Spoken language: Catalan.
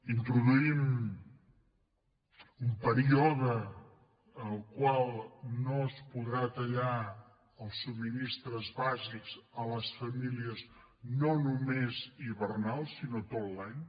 introduïm un període en el qual no es podran tallar els subministraments bàsics a les famílies no només hivernal sinó tot l’any